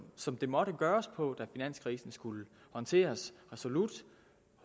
som det måtte gøres på da finanskrisen skulle håndteres resolut og